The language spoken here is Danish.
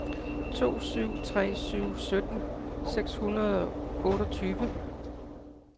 to syv tre syv sytten seks hundrede og otteogtyve